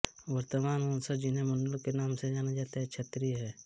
वर्तमान वंशज जिन्हें मंडल के नाम से जाना जाता है क्षत्रिय हैं